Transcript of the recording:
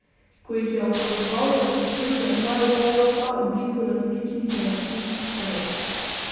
Ko jih je opazoval, je ugotovil, da imajo prav vsa obliko različnih geometrijskih teles.